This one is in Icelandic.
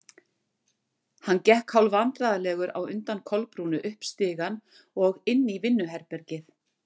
Hann gekk hálfvandræðalegur á undan Kolbrúnu upp stigann og inn í vinnuherbergið.